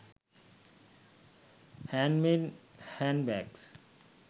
handmade handbags